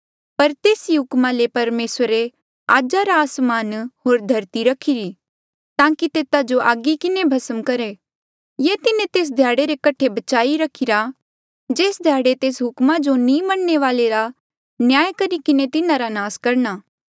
पर तेस ही हुकमा ले परमेसरे आज का आसमान होर धरती रखीरी ताकि तेता जो आगी किन्हें भस्म करहे ये तिन्हें तेस ध्याड़े रे कठे बचाई रखीरा जेस ध्याड़े तेस हुकमा जो नी मन्नणे वाले रा न्याय करी किन्हें तिन्हारा नास करणा